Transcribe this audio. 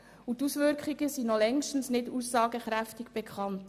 Die Auswirkungen sind noch längst nicht aussagekräftig bekannt.